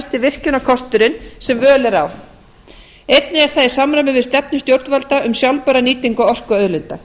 umvherfisvænasti virkjunarkosturinn sem völ er á einnig er það í samræmi við stefnu stjórnvalda um sjálfbæra nýtingu orkuauðlinda